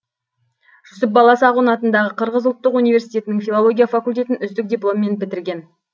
жүсіп баласағұн атындағы қырғыз ұлттық университетінің филология факультетін үздік дипломмен бітірген